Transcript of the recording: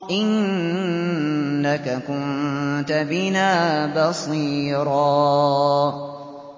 إِنَّكَ كُنتَ بِنَا بَصِيرًا